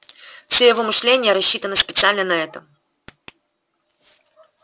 все его мышление рассчитано специально на это